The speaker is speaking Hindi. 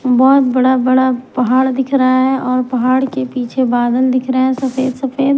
बहुत बड़ा बड़ा पहाड़ दिख रहा है और पहाड़ के पीछे बादल दिख रहे हैं सफेद सफेद--